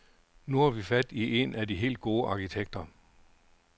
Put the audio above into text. Nu har vi fat i en af de helt gode arkitekter.